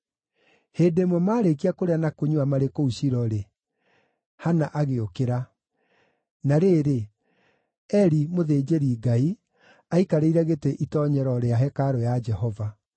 Hĩndĩ ĩmwe maarĩkia kũrĩa na kũnyua marĩ kũu Shilo-rĩ, Hana agĩũkĩra. Na rĩrĩ, Eli, mũthĩnjĩri-Ngai, aikarĩire gĩtĩ itoonyero rĩa hekarũ ya Jehova.